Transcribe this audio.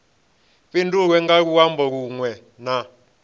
fhindulwe nga luambo lunwe na